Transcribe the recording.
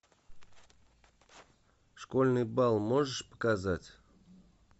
школьный бал можешь показать